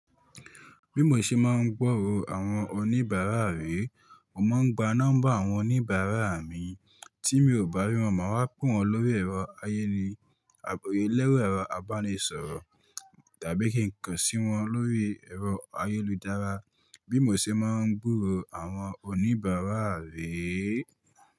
Bí mo ṣe máa ń gbọ́rọ̀ àwọn oníbàárà rí, mo máa ń gba nọ́mbà àwọn oníbàárà mi tí mi ò bá rí wọn má wa pe wọn lórí ẹ̀rọ ayéle àbí lẹ́rọ̀ ẹ̀rọ àbánisọ̀rọ̀ tàbí kí n kàn sí wọn lórí ẹ̀rọ ayélujára bí mo ṣe máa ń gbọ́rọ̀ àwọn oníbàárà rí.